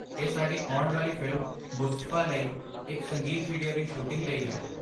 ਇਹ ਸਾਡੀ ਆਉਣ ਵਾਲੀ ਫਿਲਮ 'ਮੁਸਤਫ਼ਾ' ਲਈ ਇੱਕ ਸੰਗੀਤ ਵੀਡੀਓ ਦੀ ਸ਼ੂਟਿੰਗ ਲਈ ਹੈ।